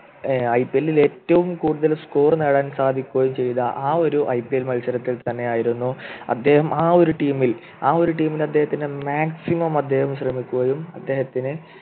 ഏർ IPL ൽ ഏറ്റവും കൂടുതൽ Score നേടാൻ സാധിക്കുകയും ചെയ്ത ആ ഒരു ഐപിഎൽ മത്സരത്തിൽ തന്നെയായിരുന്നു അദ്ദേഹം ആ ഒരു Team ൽ ആ ഒരു Team ൽ അദ്ദേഹത്തിൻ്റെ Maximum അദ്ദേഹം ശ്രമിക്കുകയും അദ്ദേഹത്തിന്